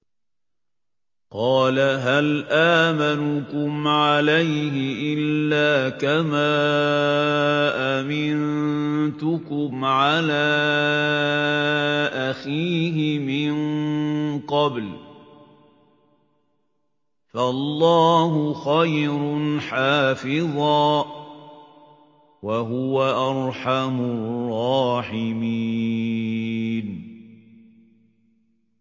قَالَ هَلْ آمَنُكُمْ عَلَيْهِ إِلَّا كَمَا أَمِنتُكُمْ عَلَىٰ أَخِيهِ مِن قَبْلُ ۖ فَاللَّهُ خَيْرٌ حَافِظًا ۖ وَهُوَ أَرْحَمُ الرَّاحِمِينَ